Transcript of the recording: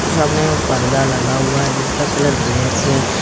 और सामने में पर्दा लगा हुआ है जिसका कलर ब्लैक है।